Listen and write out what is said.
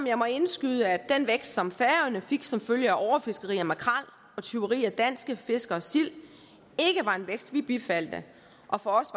jeg må indskyde at den vækst som færøerne fik som følge af overfiskeri af makrel og tyveri af danske fiskeres sild ikke var en vækst vi bifaldt og for os